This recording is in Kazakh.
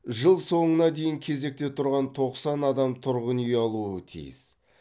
жыл соңына дейін кезекте тұрған тоқсан адам тұрғын үй алуы тиіс